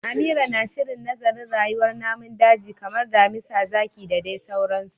Amira na shirin nazarin rayuwar namun daji kamar damisa, zaki da dai sauransu